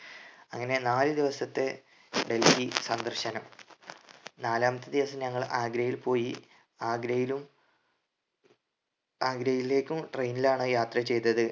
അങ്ങനെ നാല് ദിവസത്തെ ഡൽഹി സന്ദർശനം നാലാമത്തെ ദിവസം ഞങ്ങൾ ആഗ്രയിൽ പോയി ആഗ്രയിലും ആഗ്രയിലേക്കും train ലാണ് യാത്ര ചെയ്‌തത്‌